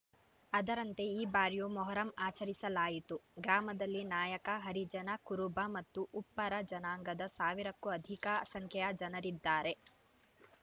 ಅದರಂತೆ ಈ ಬಾರಿಯೂ ಮೊಹರಂ ಆಚರಿಸಲಾಯಿತು ಗ್ರಾಮದಲ್ಲಿ ನಾಯಕ ಹರಿಜನ ಕುರುಬ ಮತ್ತು ಉಪ್ಪಾರ ಜನಾಂಗದ ಸಾವಿರಕ್ಕೂ ಅಧಿಕ ಸಂಖ್ಯೆಯ ಜನರಿದ್ದಾರೆ